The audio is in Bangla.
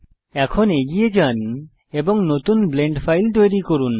এখন এগিয়ে যান এবং নতুন ব্লেন্ড ফাইল তৈরী করুন